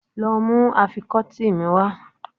Lọ mú àfikọ́tí mi wá.